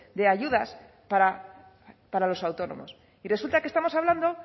de ayudas para los autónomos y resulta que estamos hablando